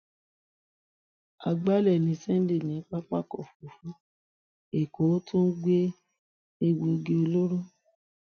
àgbálẹ ní sunday ní pápákọ òfurufú èkó ó tún ń gbé egbòogi olóró